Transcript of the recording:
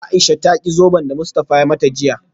Aisha ta ki zoben da Mustafa ya mata jiya